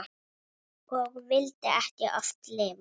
Og vildi oft ekki lifa.